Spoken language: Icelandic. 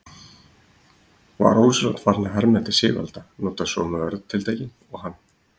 Var ósjálfrátt farinn að herma eftir Sigvalda, nota sömu orðatiltækin og hann.